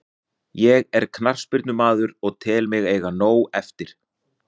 Ég er knattspyrnumaður og tel mig eiga nóg eftir.